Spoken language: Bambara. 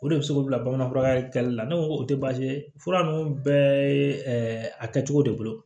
O de bɛ se k'o bila bamanan fura kɛlen la ne ko ko o tɛ baasi ye fura ninnu bɛɛ a kɛcogo de bolo